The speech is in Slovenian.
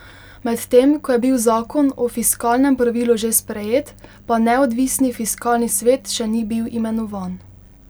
Medtem ko je bil zakon o fiskalnem pravilu že sprejet, pa neodvisni fiskalni svet še ni bil imenovan.